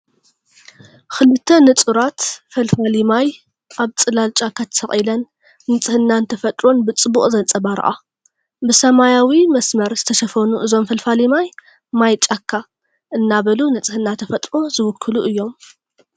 ክልተ ንጹራት ፈልፋሊ ማይ ኣብ ጽላል ጫካ ተሰቒለን ንጽህናን ተፈጥሮን ብጽቡቕ ዘንጸባርቓ። ብሰማያዊ መስመር ዝተሸፈኑ እዞም ፈልፋሊ ማይ፡ ‘ማይ ጫካ’ እናበሉ ንጽህና ተፈጥሮ ዝውክሉ እዮም።”